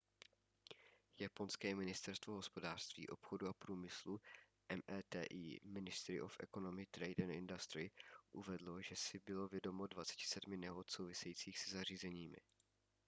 japonské ministerstvo hospodářství obchodu a průmyslu meti –⁠ ministry of economy trade and industry uvedlo že si bylo vědomo 27 nehod souvisejících se zařízeními